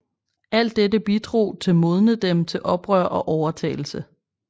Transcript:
Alt dette bidrog til modne dem til oprør og overtagelse